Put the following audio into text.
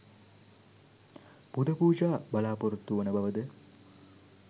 පුද පූජා බලාපොරොත්තු වන බවද